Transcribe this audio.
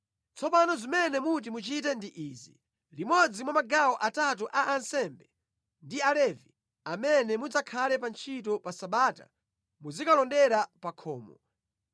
Tsopano zimene muti muchite ndi izi: Limodzi mwa magawo atatu a ansembe ndi Alevi amene mudzakhale pa ntchito pa Sabata muzikalondera pa khomo,